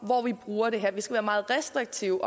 hvor vi bruger det her vi skal meget restriktive